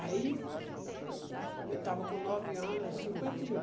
Aí, eu estava com nove anos, cinquenta e um.